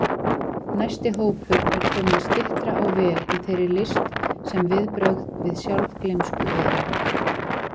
Næsti hópur er kominn styttra á veg í þeirri list sem viðbrögð við sjálfgleymsku eru.